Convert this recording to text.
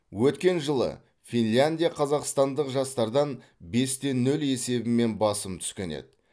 өткен жылы финляндия қазақстандық жастардан бес те нөл есебімен басым түскен еді